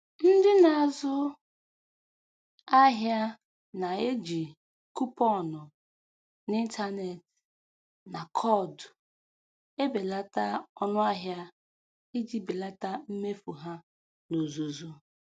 Ndị na-azụ ahịa na-eji kuponụ n'ịntanetị na koodu, ebelata ọnụ ahịa iji belata mmefu ha n'ozuzu